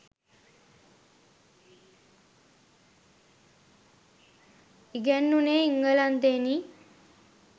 ඉගැන්වුණේ එංගලන්තයෙනි.